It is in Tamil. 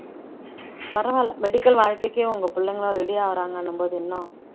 பரவாயில்லை medical வாழ்க்கைக்கே உங்க பிள்ளைங்க எல்லாம் ready ஆகறாங்கன்னும்போது இன்னும்